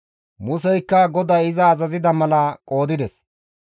Museykka GODAY iza azazida mala qoodides.